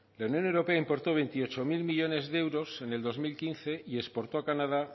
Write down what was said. la unión europea importó veintiocho mil millónes de euros en el dos mil quince y exportó a canadá